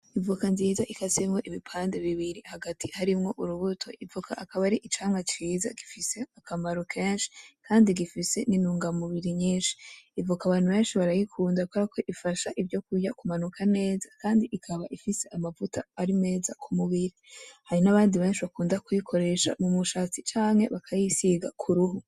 Ivoka nziza ikasemwo ibipande bibiri hagati harimwo urubuto. Ivoka ikaba ar‘ icamwa ciza gifise akamaro kenshi, kandi gifise n‘ intungamubiri nyinshi. Ivoka abantu benshi barayikunda kuberako ifasha ivyo kurya kumanuka neza kandi ikaba ifise amavuta ari meza ku mubiri, hari n‘abandi benshi bakunda kuyikoresha mu mushatsi canke bakayisiga k‘ uruhu .